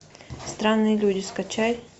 странные люди скачай